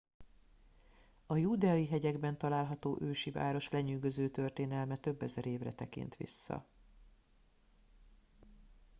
a júdeai hegyekben található ősi város lenyűgöző történelme több ezer évre tekint vissza